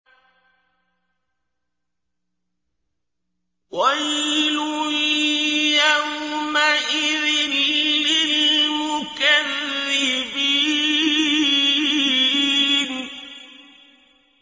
وَيْلٌ يَوْمَئِذٍ لِّلْمُكَذِّبِينَ